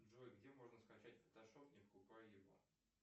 джой где можно скачать фотошоп не покупая его